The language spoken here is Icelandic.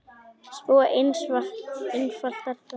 Svo einfalt er það!